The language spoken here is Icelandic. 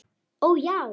Ó, já.